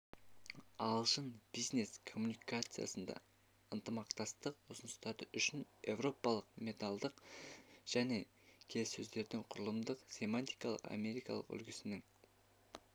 ағылшын бизнес-коммуникациясында ынтымақтастық ұсыныстары үшін еуропалық менталдық және келіссөздердің құрылымдық-семантикалық америкалық үлгісінің